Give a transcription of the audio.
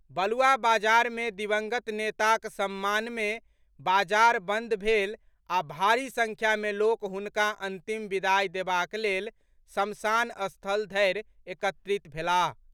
बलुआ बाजार मे दिवंगत नेताक सम्मान मे बाजार बंद भेल आ भारी संख्या में लोक हुनका अंतिम विदाई देबाक लेल शमशान स्थल धरि एकत्रित भेलाह।